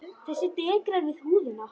Þessi dekrar við húðina.